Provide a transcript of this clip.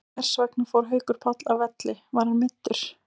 En hversvegna fór Haukur Páll af velli, var hann meiddur?